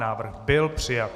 Návrh byl přijat.